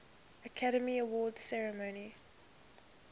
academy awards ceremony